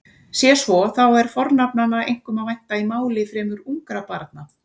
Sé svo þá er fornafnanna einkum að vænta í máli fremur ungra barna.